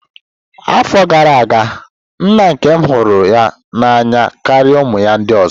Afọ gara aga, nna nkem hụrụ ya n'anya karịa ụmụ ya ndị ọzọ.